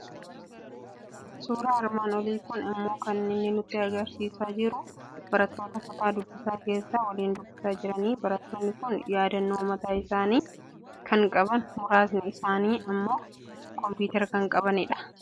Suuraan armaan olii kun immoo kan inni nutti argisiisaa jiru suuraa barattoota kutaa dubbisaa keessaa waliin dubbisaa jiranidha. Barattoonni kun yaadannoo mataa isaanii kan qaban, muraasni isaanii immoo kompiitara kan qabani dha.